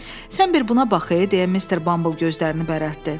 Sən bir buna bax ey, deyə Mister Bumble gözlərini bərətdi.